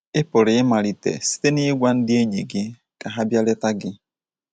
Ị pụrụ ịmalite site n’ịgwa ndị enyi gị ka ha bịa leta gị.